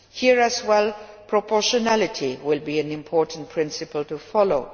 Here as well, proportionality will be an important principle to follow.